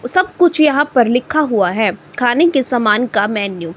सब कुछ यहां पर लिखा हुआ है खाने के समान का मेन्यू --